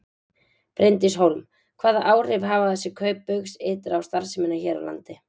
Bryndís Hólm: Hvaða áhrif hafa þessi kaup Baugs ytra á starfsemina hér á landi?